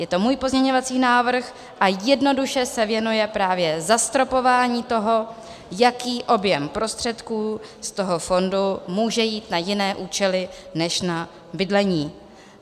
Je to můj pozměňovací návrh a jednoduše se věnuje právě zastropování toho, jaký objem prostředků z toho fondu může jít na jiné účely než na bydlení.